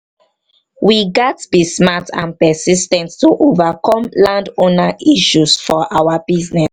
we gats be smart and persis ten t to overcome landowner issues for our business.